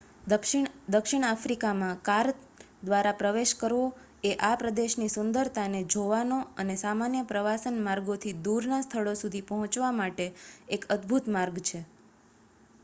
દક્ષિણ આફ્રિકામાં કાર દ્વારા પ્રવેશ કરવો એ આ પ્રદેશની સુંદરતાને જોવાનો અને સામાન્ય પ્રવાસન માર્ગોથી દૂરના સ્થળો સુધી પહોંચવા માટે એક અદભૂત માર્ગ છે